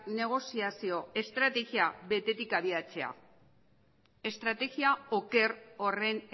negoziazio estrategia betetik abiatzea estrategia oker horren